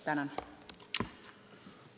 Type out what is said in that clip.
Tänan!